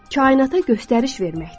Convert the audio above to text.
Kainata göstəriş verməkdir.